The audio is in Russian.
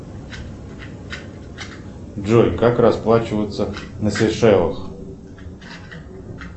джой как расплачиваться на сейшелах